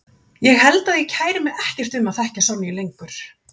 Ég held að ég kæri mig ekkert um að þekkja Sonju lengur.